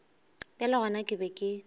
bjale gona ke be ke